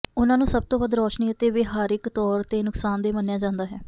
ਉਨ੍ਹਾਂ ਨੂੰ ਸਭ ਤੋਂ ਵੱਧ ਰੌਸ਼ਨੀ ਅਤੇ ਵਿਹਾਰਿਕ ਤੌਰ ਤੇ ਨੁਕਸਾਨਦੇਹ ਮੰਨਿਆ ਜਾਂਦਾ ਹੈ